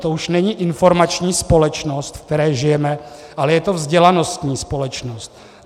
To už není informační společnost, ve které žijeme, ale je to vzdělanostní společnost.